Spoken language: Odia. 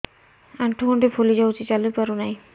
ଆଂଠୁ ଗଂଠି ଫୁଲି ଯାଉଛି ଚାଲି ପାରୁ ନାହିଁ